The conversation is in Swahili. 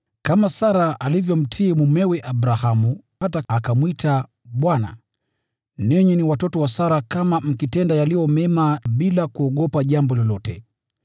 kama Sara alivyomtii mumewe Abrahamu, hata akamwita bwana. Ninyi ni watoto wa Sara kama mkitenda yaliyo mema, bila kuogopa jambo lolote.